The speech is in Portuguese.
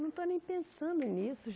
Não estou nem pensando nisso